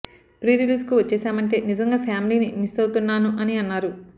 pre రిలీజ్కు వచ్చేసామంటే నిజంగా ఫ్యామిలీని మిస్ అవుతున్నాను అని అన్నారు